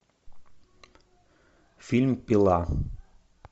фильм пила